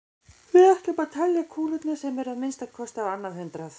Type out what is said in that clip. Við ætlum að telja kúlurnar sem eru að minnsta kosti á annað hundrað.